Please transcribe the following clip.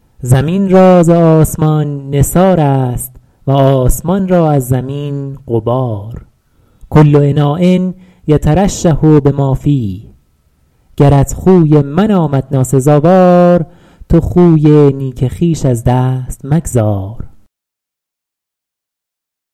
زمین را ز آسمان نثار است و آسمان را از زمین غبار کل اناء یترشح بما فیه گرت خوی من آمد ناسزاوار تو خوی نیک خویش از دست مگذار